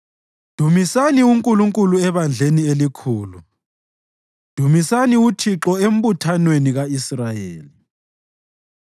Dumisani uNkulunkulu ebandleni elikhulu; dumisani uThixo embuthanweni ka-Israyeli.